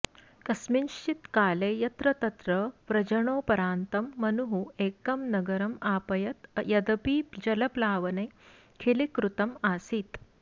कस्मिंश्चित् काले यत्रतत्र व्रजणोपरान्तं मनुः एकं नगरम् आपयत् यदपि जलप्लावने खिलीकृतम् आसीत्